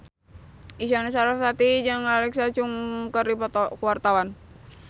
Isyana Sarasvati jeung Alexa Chung keur dipoto ku wartawan